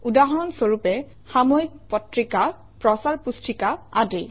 উদাহৰণ স্বৰূপে - সাময়িক পত্ৰিকা প্ৰচাৰ পুস্তিকা আদি